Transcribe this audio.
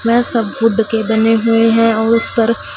वह सब वुड के बने हुए हैं और उस पर--